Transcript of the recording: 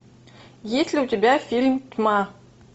есть ли у тебя фильм тьма